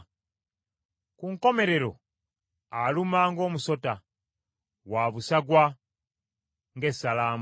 ku nkomerero aluma ng’omusota, wa busagwa ng’essalambwa.